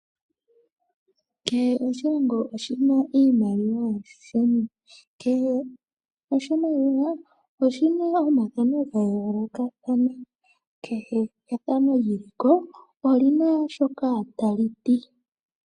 Kehe oshilongo oshina iimaliwa yasho, kehe oshimaliwa oshima omathano ga yooloka ano kehe ethano liliko olina shoka ta liti.